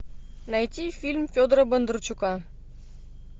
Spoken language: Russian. найти фильм федора бондарчука